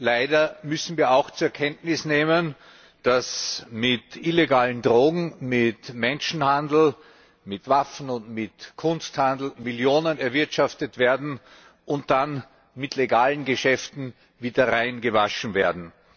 Leider müssen wir auch zur Kenntnis nehmen, dass mit illegalen Drogen, mit Menschenhandel, mit Waffen und mit Kunsthandel Millionen erwirtschaftet und dann mit legalen Geschäften wieder reingewaschen werden.